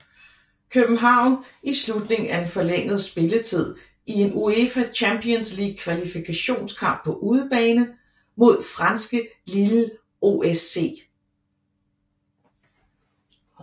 København i slutningen af den forlængede spilletid i en UEFA Champions League kvalifikationskamp på udebane mod franske Lille OSC